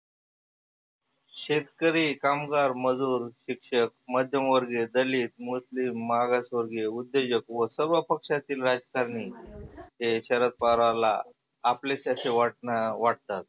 शेतकरी, कामगार, मजुर, शिक्षक, मध्यमवर्गिय, दलीत, मुसलीम, मागास वर्गिय, उद्योजक व सर्व पक्षातील राजकारणी ते शरद पवाराला आपलेच असे वाटनं वाटतात.